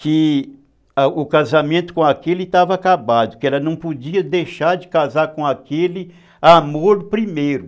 que o casamento com aquele estava acabado, que ela não podia deixar de casar com aquele amor primeiro.